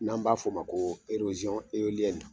N'an b'a f'o ma ko erosɔn eoliyɛni